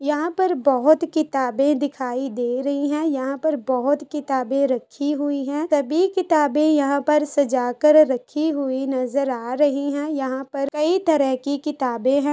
यहाँ पर बहुत किताबें दिखाई दे रही है यहाँ पर बहुत किताबें रखी हुई है तभी किताबें यहाँ पर सजा कर रखी हुई नज़र आ रही है यहाँ पर कई तरह की किताबे है।